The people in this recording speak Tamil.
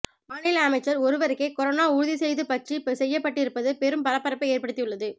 மாநில அமைச்சர் ஒருவருக்கே கொரோனா உறுதி செய்து பற்றி செய்யப்பட்டிருப்பது பெரும் பரபரப்பை ஏற்படுத்தியுள்ளது